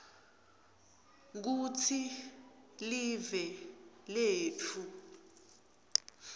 kutsi live letfu